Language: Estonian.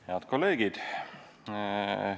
Head kolleegid!